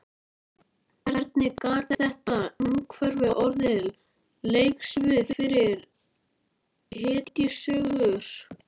Hvernig gat þetta umhverfi orðið leiksvið fyrir hetjusögur?